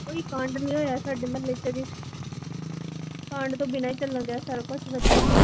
ਕੋਈ ਕਾਂਡ ਨੀ ਹੋਇਆ ਸਾਡੇ ਮੁਹੱਲੇ ਚ ਅਜੇ ਕਾਂਡ ਤੋਂ ਬਿਨਾਂ ਈ ਚੱਲਣ ਡਿਆ ਸਾਰਾ ਕੁਸ਼ ਵਧੀਆ